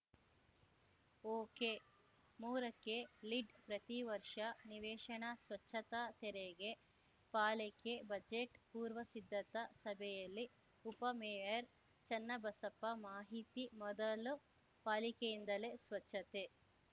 ಒಕೆಮೂರಕ್ಕೆ ಲೀಡ್‌ ಪ್ರತಿವರ್ಷ ನಿವೇಶನ ಸ್ವಚ್ಛತಾ ತೆರಿಗೆ ಪಾಲಿಕೆ ಬಜೆಟ್‌ ಪೂರ್ವ ಸಿದ್ಧತಾ ಸಭೆಯಲ್ಲಿ ಉಪಮೇಯರ್‌ ಚೆನ್ನಬಸಪ್ಪ ಮಾಹಿತಿ ಮೊದಲು ಪಾಲಿಕೆಯಿಂದಲೇ ಸ್ವಚ್ಛತೆ